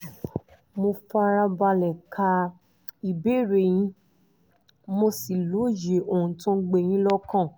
mo fara balẹ̀ ka ìbéèrè yín mo sì lóye ohun tó ń gbé yín lọ́kàn